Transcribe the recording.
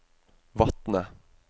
Vatne